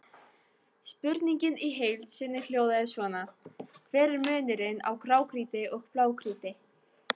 Spurningin í heild sinni hljóðaði svona: Hver er munurinn á grágrýti og blágrýti?